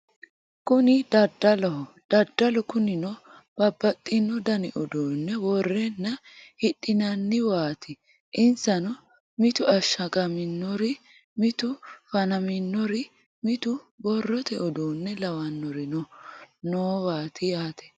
kuni daddaloho daddalu kunino babbaxxino dani uduunne worreenna hidhinanniwaati insano mitu ashshagaminori mitu fanaminori mitu borrote uduunne lawannorino noowaati yaate